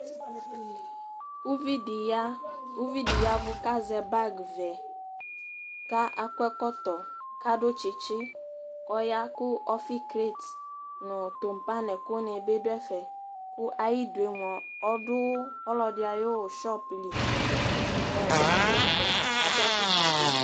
uʋidi ya uʋidi yaʋu kazɛ bagʋɛ kakɔɛkɔtɔ kadu tsitsi kɔya ku ɔfigret nu tumba nɛkuni bi duɛfɛ ku ayidue mua ɔdu ɔlɔdiayu shopli kɔɔ ɔɖuɛfɛ aduafukpabi